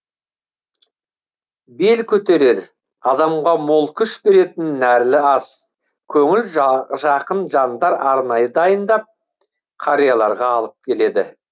бел көтерер адамға мол күш беретін нәрлі ас көңіл жақын жандар арнайы дайындап қарияларға алып келеді